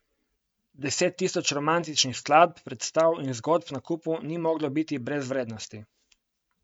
Deset tisoč romantičnih skladb, predstav in zgodb na kupu ni moglo biti brez vrednosti.